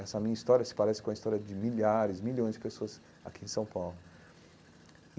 Essa minha história se parece com a história de milhares, milhões de pessoas aqui em São Paulo.